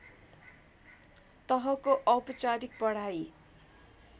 तहको औपचारिक पढाइ